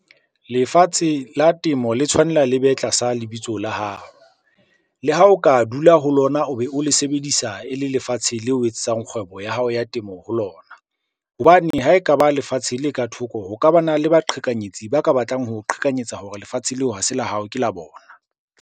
Lefatshe la temo le tshwanela le be tlasa lebitso la hao. Le ha o ka dula ho lona o be o le sebedisa e le lefatshe leo o etsetsang kgwebo ya hao ya temo ho lona. Hobane ha ekaba lefatshe le ka thoko, ho ka bana le baqhekanyetsi ba ka batlang ho o qhekanyetsa hore lefatshe leo ha se la hao ke la bona.